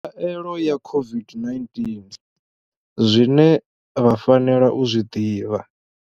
Khaelo ya COVID-19 zwine vha fanela u zwi ḓivha.